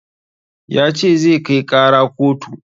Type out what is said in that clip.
Ya ce zai kai ƙara kotu